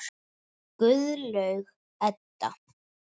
Guðlaug Edda.